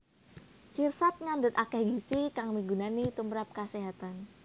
Sirsat ngandhut akéh gizi kang migunani tumprap kaséhatan